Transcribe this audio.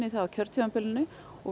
það á kjörtímabilinu og